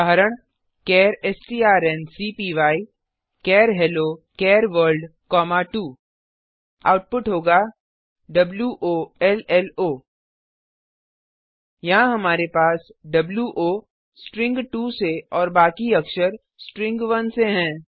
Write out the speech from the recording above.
उदाहरण चार strncpyचार हेलो चार वर्ल्ड 2 आउटपुट होगा वोलो यहाँ हमारे पास वो स्ट्रिंग 2 से और बाकी अक्षर स्ट्रिंग 1 से हैं